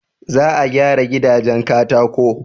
Za a gyara gidajen katako.